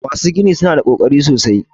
Masu gini su na da ƙoƙari sosai.